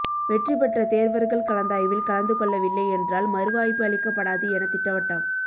வெற்றி பெற்ற தேர்வர்கள் கலந்தாய்வில் கலந்து கொள்ளவில்லை என்றால் மறுவாய்ப்பு அளிக்கப்படாது என திட்டவட்டம்